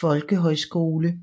Folkehøjskole